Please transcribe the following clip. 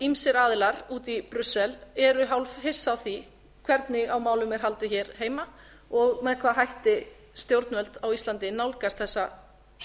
ýmsir aðilar úti í brussel eru hálf hissa á því hvernig á málum er haldið hér heima og með hvaða hætti stjórnvöld á íslandi nálgast þessa